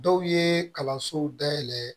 Dɔw ye kalansow dayɛlɛ